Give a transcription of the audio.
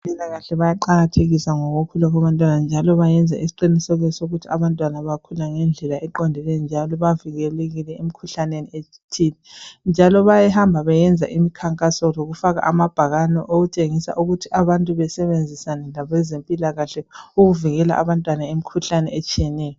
Abezempilakahle bayaqakathekisa ngokukhula kwabantwana njalo bayenza isiqiniseko sokuthi abantwana bakhula ngendlela eqondileyo, njalo bavikelekile emikhuhlaneni ethile njalo bayahamba beyenza imikhankaso lokufaka amabhakane okutshengisa ukuthi abantu besebenzisane labezempilakahle ukuvikela abantwana imikhuhlane etshiyeneyo.